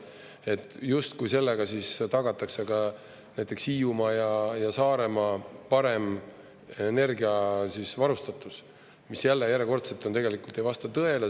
Et justkui sellega siis tagatakse ka näiteks Hiiumaa ja Saaremaa parem energiavarustatus, mis jälle, järjekordselt tegelikult ei vasta tõele.